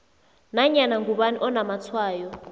nanyana ngubani onamatshwayo